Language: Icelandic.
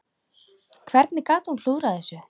Hvernig gat hún klúðrað þessu?